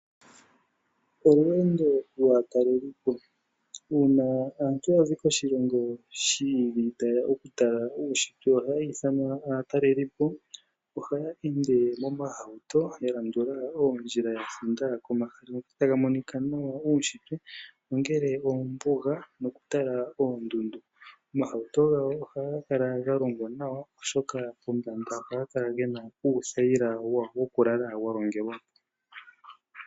Olweendo lwaatalelipo Uuna aantu ya zi koshilongo shi ili taye ya okutala uunshitwe ohaya ithanwa aatalelipo. Ohaya ende momahauto ya landula oondjila ya thinda komahala ngoka taga monika nawa ge na uunshitwe, ongele oombuga mwa kwatelwa oondundu. Omahauto gawo ohaga kala ga longwa nawa, oshoka pombanda ohaga kala ge na uuthayila wawo wokulala wa longelwa ko.